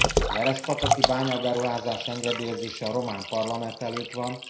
A verespataki bányaberuházás engedélyezése a román parlament előtt van.